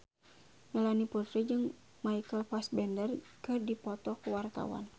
Melanie Putri jeung Michael Fassbender keur dipoto ku wartawan